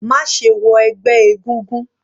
Má ṣe wọ ẹgbẹ́ egúngún.